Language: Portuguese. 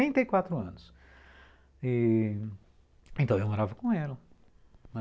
e.., então eu morava com ela, né?